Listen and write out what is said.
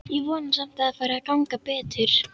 Ég vona samt að fari að ganga betur.